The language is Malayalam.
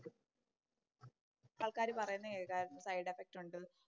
ആൾക്കാര് പറയുന്നത് കേക്കാരുന്നു സൈഡ് എഫക്റ്റ് ഒണ്ട്